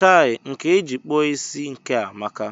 Chai! Nkà eji kpụọ isí nke a amaka!